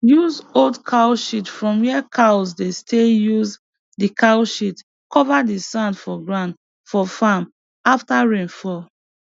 use old cow shit from where cows dey stayuse the cow shit cover the sand for ground for farm after rain fall